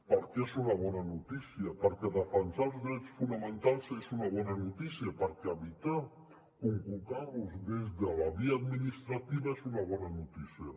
perquè és una bona notícia perquè defensar els drets fonamentals és una bona notícia perquè evitar conculcar·los des de la via administrativa és una bona notícia